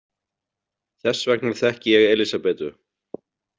Þess vegna þekki ég Elísabetu.